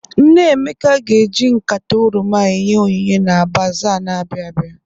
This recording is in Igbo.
Nne Emeka ga-eji nkata oroma enye onyinye na baza n'abịa abịa.